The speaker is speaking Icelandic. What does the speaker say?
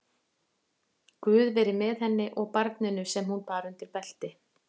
Guð veri með henni og barninu sem hún bar undir belti.